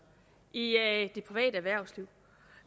i det private erhvervsliv